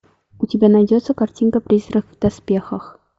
у тебя найдется картинка призрак в доспехах